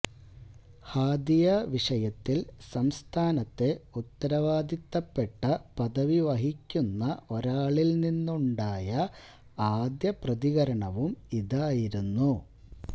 ഹാദിയ വിഷയത്തില് സംസ്ഥാനത്തെ ഉത്തരവാദിത്തപ്പെട്ട പദവി വഹിക്കുന്ന ഒരാളില് നിന്നുണ്ടായ ആദ്യ പ്രതികരണവും ഇതായിരുന്നു